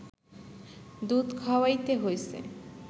দুধ খাওয়াইতে হইছে